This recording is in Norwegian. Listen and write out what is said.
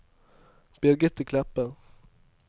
Birgitte Kleppe